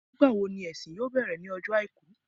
Nígbàwo ni ìsin yóò bẹ̀rẹ̀ ní ọjọ́ Àìkú